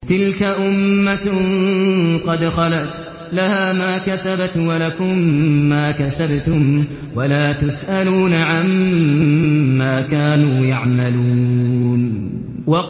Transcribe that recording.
تِلْكَ أُمَّةٌ قَدْ خَلَتْ ۖ لَهَا مَا كَسَبَتْ وَلَكُم مَّا كَسَبْتُمْ ۖ وَلَا تُسْأَلُونَ عَمَّا كَانُوا يَعْمَلُونَ